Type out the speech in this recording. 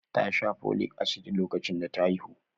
Ta sha Folic Acid lokacin da ta haihu?